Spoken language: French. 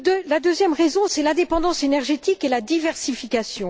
La deuxième raison tient à l'indépendance énergétique et à la diversification.